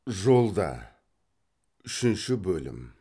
жолда үшінші бөлім